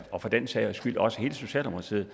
og for den sags skyld også hele socialdemokratiet